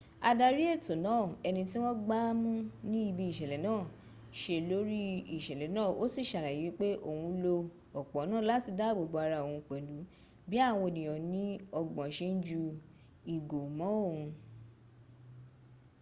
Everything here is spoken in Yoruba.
adari eto naa eniti won gbamu ni ibi isele naa se lori isele na o si s'alaye wipe oun lo opo naa lati daabo bo ara oun pelu bi awon eniyan ni ogbon se n ju igo mo oun